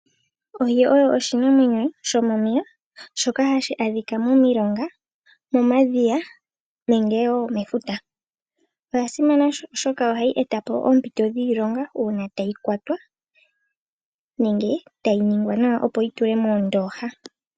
Ohi oyo oshinamwenyo shomomeya shoka hashi adhika momilonga momadhiya nenge wo mefuta. Oya simana oshoka ohayi etapo oompito dhiilonga uuna tayi kwatwa nenge tayi ningwa nawa opo yi tulwe moondooha.